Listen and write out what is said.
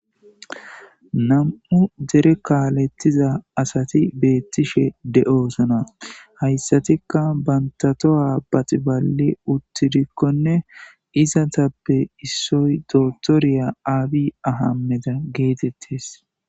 Namu'u dere kalethiza assati betishe deyossona hayisarika banitta tohuwa baxibalid utidikone izatape issoyi dokoteriya abi ahimede getetesi